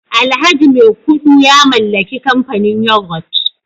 alhaji maikudu ya mallaki kamfanin yoghurt